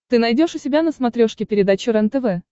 ты найдешь у себя на смотрешке передачу рентв